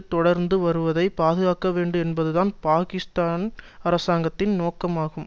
தொடர்ந்து வருவதை பாதுகாக்க வேண்டும் என்பதுதான் பாக்கிஸ்தான் அரசாங்கத்தின் நோக்கம் ஆகும்